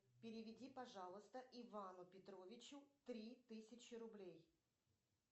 переведи пожалуйста ивану петровичу три тысячи рублей